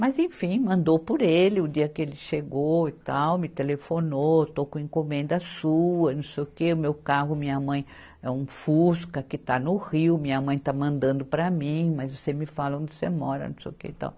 Mas, enfim, mandou por ele, o dia que ele chegou e tal, me telefonou, estou com encomenda sua, não sei o que, o meu carro, minha mãe, é um Fusca que está no Rio, minha mãe está mandando para mim, mas você me fala onde você mora, não sei o que e tal.